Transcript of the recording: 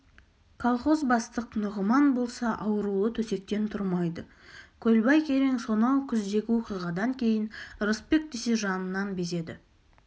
колхоз бастық нұғыман болса аурулы төсектен тұрмайды көлбай керең сонау күздегі оқиғадан кейін ырысбек десе жанынан безеді